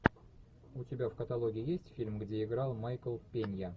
у тебя в каталоге есть фильм где играл майкл пенья